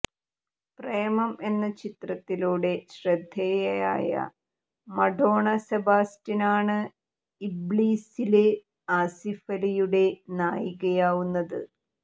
പ്രേമം എന്ന ചിത്രത്തിലൂടെ ശ്രദ്ധേയായ മഡോണ സെബാസ്റ്റ്യനാണ് ഇബ്ലീസീല് ആസിഫലിയുടെ നായികയാവുന്നത്